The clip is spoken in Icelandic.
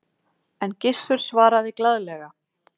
En Gissur svaraði glaðlega